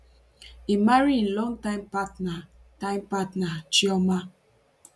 im marry im long time partner time partner chioma